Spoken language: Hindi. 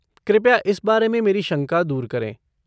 कृपया इस बारे में मेरी शंका दूर करें।